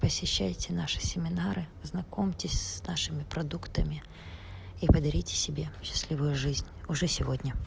посещайте наши семинары знакомьтесь с нашими продуктами и подарите себе счастливую жизнь уже сегодня